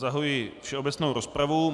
Zahajuji všeobecnou rozpravu.